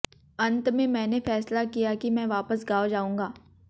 अंत में मैंने फ़ैसला किया कि मैं वापस गाँव जाऊँगा